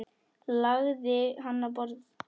Lagði hann á borð.